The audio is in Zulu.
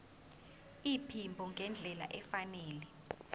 iphimbo ngendlela efanele